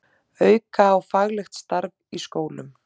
Auka á faglegt starf í skólum